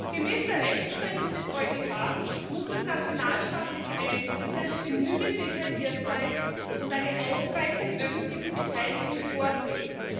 Gemäß der Rechtsprechung des EuGH muss das nationalstaatliche Einzelgesetz genügend detailliert sein und eine ausreichende öffentliche Beteiligung vorsehen.